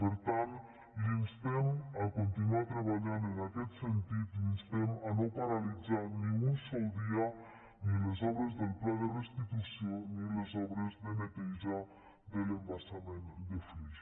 per tant l’instem a continuar treballant en aquest sentit l’instem a no paralitzar ni un sol dia ni les obres del pla de restitució ni les obres de neteja de l’embassament de flix